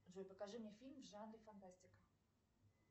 джой покажи мне фильм в жанре фантастика